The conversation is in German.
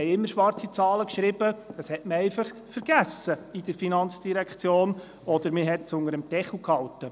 Wir schrieben immer schwarze Zahlen, aber die FIN hat das einfach vergessen, oder es wurde unter dem Deckel gehalten.